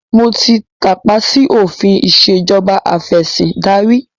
Mo ti tàpá sì òfin ìsèjọba afẹ̀sindarí